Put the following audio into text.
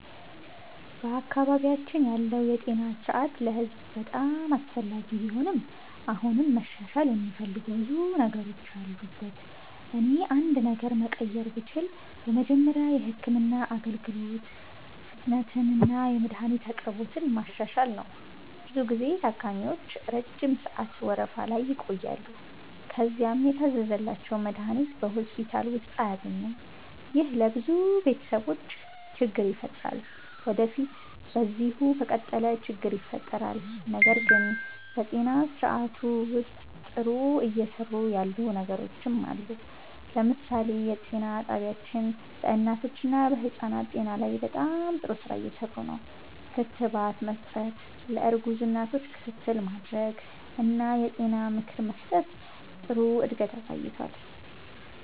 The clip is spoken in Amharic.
በአካባቢያችን ያለው የጤና ስርዓት ለህዝብ በጣም አስፈላጊ ቢሆንም አሁንም መሻሻል የሚፈልጉ ብዙ ነገሮች አሉበት። እኔ አንድ ነገር መቀየር ብችል በመጀመሪያ የህክምና አገልግሎት ፍጥነትንና የመድሀኒት አቅርቦትን ማሻሻል ነው። ብዙ ጊዜ ታካሚዎች ረጅም ሰዓት ወረፋ ላይ ይቆያሉ፣ ከዚያም የታዘዘላቸውን መድሀኒት በሆስፒታል ውስጥ አያገኙም። ይህ ለብዙ ቤተሰቦች ችግር ይፈጥራል ወዴፊት በዚሁ ከቀጠለ ችግር ይፈጥራል። ነገር ግን በጤና ስርዓቱ ውስጥ ጥሩ እየሰሩ ያሉ ነገሮችም አሉ። ለምሳሌ የጤና ጣቢያዎች በእናቶችና በህፃናት ጤና ላይ በጣም ጥሩ ስራ እየሰሩ ነው። ክትባት መስጠት፣ ለእርጉዝ እናቶች ክትትል ማድረግ እና የጤና ምክር መስጠት ጥሩ እድገት አሳይቷል።